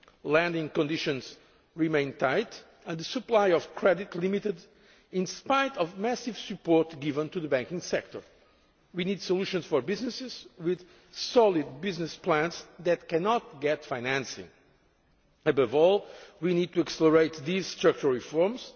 Lending conditions remain tight and the supply of credit limited in spite of massive support given to the banking sector. We need solutions for businesses with solid business plans that cannot get financing. Above all, we need to accelerate these structural reforms.